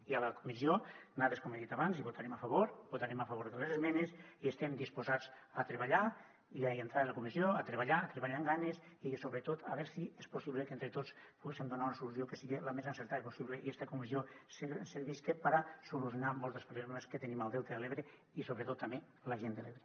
i a la comissió nosaltres com he dit abans hi votarem a favor votarem a favor de les esmenes i estem disposats a treballar i en fer la comissió i a treballar a treballar amb ganes i sobretot a veure si és possible que entre tots poguéssem donar una solució que siga la més encertada possible i esta comissió servisca per a solucionar molts dels problemes que tenim al delta de l’ebre i sobretot també la gent de l’ebre